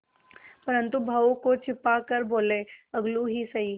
परंतु भावों को छिपा कर बोलेअलगू ही सही